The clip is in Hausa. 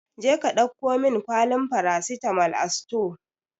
Jeka ɗauko min kwalin farasitamol a sutore!